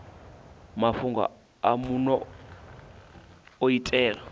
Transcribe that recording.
mafhungo a muno u itela